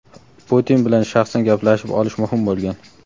Putin bilan shaxsan gaplashib olish muhim bo‘lgan.